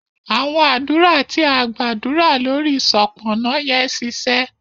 awọn adura ti a gbadura lórí Sopona yen ṣiṣẹ